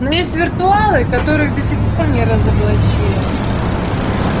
но есть виртуалы которых до сих пор не разоблачили